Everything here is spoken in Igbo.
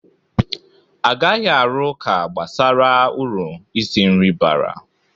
Agaghi arụ ụka gbasara uru isi nri bara.